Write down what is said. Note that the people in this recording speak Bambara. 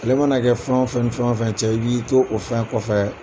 mana kɛ fɛn o fɛn ni fɛn o fɛn cɛ i b'i to o fɛn kɔfɛ.